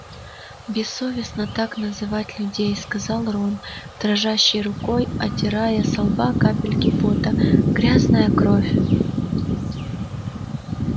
бессовестно так называть людей сказал рон дрожащей рукой отирая со лба капельки пота грязная кровь